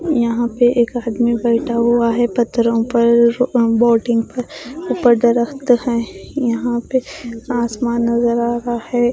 यहां पे एक आदमी बैठा हुआ है पत्थरो पर बोटिंग पर ऊपर है यहां पे आसमान नजर आ रहा है।